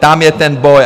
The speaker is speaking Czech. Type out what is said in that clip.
Tam je ten boj.